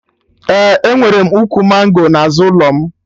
Ee, enwere m ukwu mango n'azụ ụlọ m